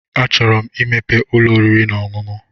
A chụrụ 'm i mepee ụlọ oriri na ọṅụṅụ.